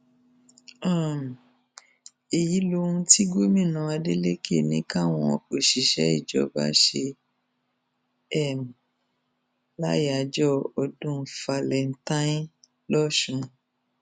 um èyí lohun tí gómìnà adeleke ní káwọn òṣìṣẹ ìjọba ṣe um láyàájọ ọdún falentain lọsùn